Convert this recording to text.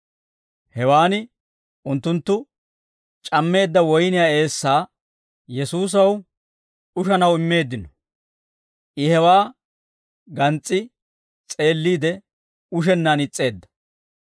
Hewaan unttunttu c'ammeedda woyniyaa eessaa Yesuusaw ushanaw immeeddino; I hewaa gans's'i s'eelliide, ushennaan is's'eedda.